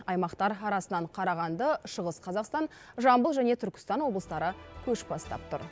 аймақтар арасынан қарағанды шығыс қазақстан жамбыл және түркістан облыстары көш бастап тұр